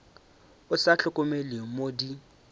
o sa hlokomele mo di